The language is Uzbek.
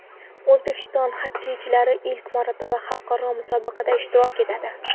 O‘zbekiston xokkeychilari ilk marotaba xalqaro musobaqada ishtirok etadi.